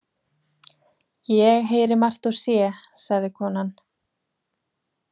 Ég heyri margt og sé, sagði konan.